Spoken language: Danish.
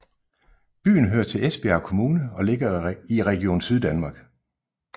Byen hører til Esbjerg Kommune og ligger i Region Syddanmark